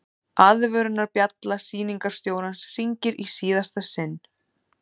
Aðvörunarbjalla sýningarstjórans hringir í síðasta sinn.